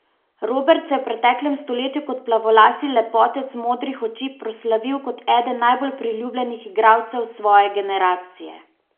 Robert se je v preteklem stoletju kot plavolasi lepotec modrih oči proslavil kot eden najbolj priljubljenih igralcev svoje generacije.